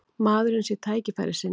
Maðurinn sé tækifærissinni